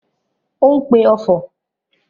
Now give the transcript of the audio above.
Ó ń pe ọfọ̀?